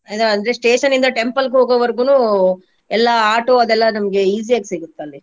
ಅದೆ ಅಂದ್ರೆ station ಇಂದ temple ಇಗ್ ಹೋಗೊವರ್ಗುನು ಎಲ್ಲಾ auto ಅದೆಲ್ಲಾ ನಮ್ಗೆ easy ಯಾಗಿ ಸಿಗುತ್ತಲ್ಲಿ.